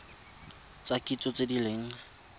tsa kitso tse di leng